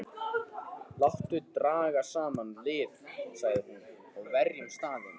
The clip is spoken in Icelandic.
Láttu draga saman lið, sagði hún,-og verjum staðinn.